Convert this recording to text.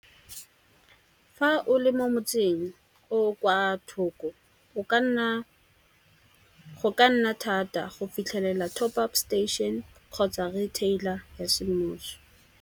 Fa o le mo motseng o kwa thoko go ka nna thata go fitlhelela top-up station kgotsa retailer ya semmuso.